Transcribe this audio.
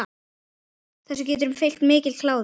Þessu getur fylgt mikill kláði.